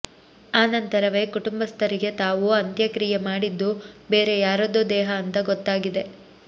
ಆ ನಂತರವೇ ಕುಟುಬ್ಥರಿಗೆ ತಾವು ಅಂತ್ಯಕ್ರೀಯೆ ಮಾಡಿದ್ದು ಬೇರೇ ಯಾರದ್ದೋ ದೇಹ ಅಂತಾ ಗೊತ್ತಾಗಿದೆ